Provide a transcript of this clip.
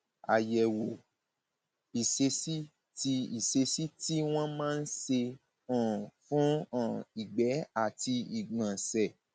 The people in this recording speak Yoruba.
àyẹwò ìṣesí tí ìṣesí tí wọn máa ń ṣe um fún um ìgbẹ àti ìgbọnsẹ